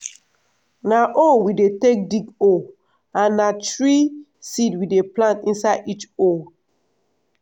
na hoe we dey take dig hole and na three seed we dey plant inside each hole.